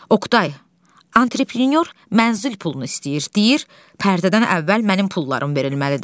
Oqtay, antreprənyor mənzil pulunu istəyir, deyir pərdədən əvvəl mənim pullarım verilməlidir.